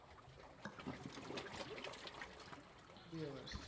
બે વર્ષ